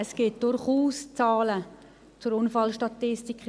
Es gibt durchaus Zahlen zur Unfallstatistik.